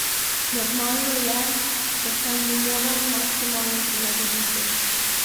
Normalno je, da se mu moram maksimalno prilagoditi.